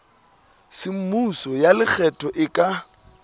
semmuso ya lekgetho e ka